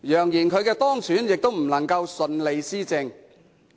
揚言她當選亦不能順利施政。